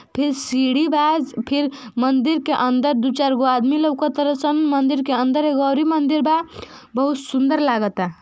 फिर सीढ़ी बा ज् फिर मंदिर के अंदर दू चार गो आदमी लौकतर सन। मंदिर के अंदर एगो अउरी मंदिर बा। बहुत सुंदर लागता।